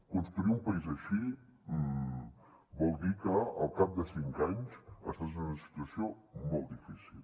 construir un país així vol dir que al cap de cinc anys estàs en una situació molt difícil